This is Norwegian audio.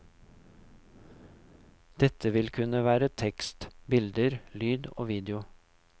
Dette vil kunne være tekst, bilder, lyd og video.